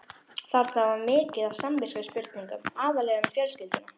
Þarna var mikið af samviskuspurningum, aðallega um fjölskylduna.